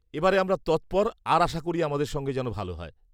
এবারে আমরা তৎপর আর আশা করি আমাদের সঙ্গে যেন ভালো হয়।